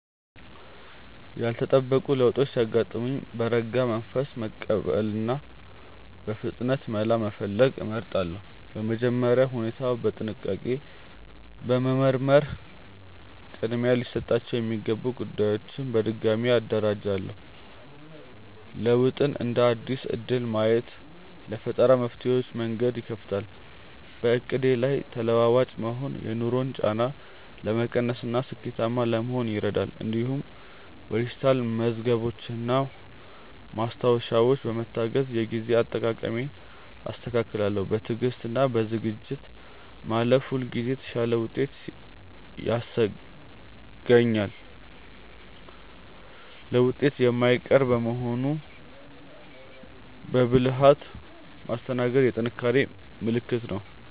ያልተጠበቁ ለውጦች ሲያጋጥሙኝ በረጋ መንፈስ መቀበልንና በፍጥነት መላ መፈለግን እመርጣለሁ። በመጀመሪያ ሁኔታውን በጥንቃቄ በመመርመር ቅድሚያ ሊሰጣቸው የሚገቡ ጉዳዮችን በድጋሚ አደራጃለሁ። ለውጥን እንደ አዲስ እድል ማየት ለፈጠራ መፍትሄዎች መንገድ ይከፍታል። በዕቅዴ ላይ ተለዋዋጭ መሆን የኑሮን ጫና ለመቀነስና ስኬታማ ለመሆን ይረዳል። እንዲሁም በዲጂታል መዝገቦችና ማስታወሻዎች በመታገዝ የጊዜ አጠቃቀሜን አስተካክላለሁ። በትዕግስትና በዝግጁነት ማለፍ ሁልጊዜ የተሻለ ውጤት ያስገኛል። ለውጥ የማይቀር በመሆኑ በብልሃት ማስተናገድ የጥንካሬ ምልክት ነው።